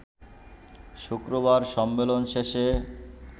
শুক্রবার সম্মেলন শেষে